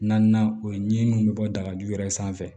Naaninan o ye ɲininiw bɛ bɔ dagaju yɛrɛ sanfɛ